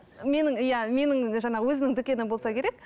менің иә менің жаңағы өзінің дүкені болса керек